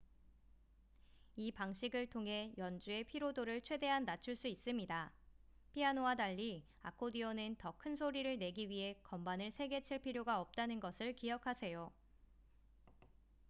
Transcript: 이 방식을 통해 연주의 피로도를 최대한 낮출 수 있습니다 피아노와 달리 아코디언은 더 큰 소리를 내기 위해 건반을 세게 칠 필요가 없다는 것을 기억하세요